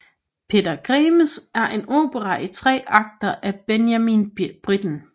Peter Grimes er en opera i tre akter af Benjamin Britten